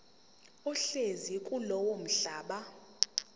ohlezi kulowo mhlaba